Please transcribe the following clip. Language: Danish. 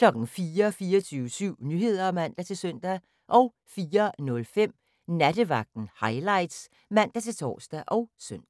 24syv Nyheder (man-søn) 04:05: Nattevagten Highlights (man-tor og søn)